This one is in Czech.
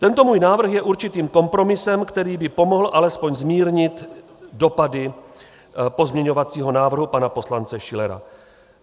Tento můj návrh je určitým kompromisem, který by pomohl alespoň zmírnit dopady pozměňovacího návrhu pana poslance Schillera.